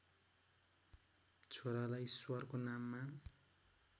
छोरालाई ईश्वरको नाममा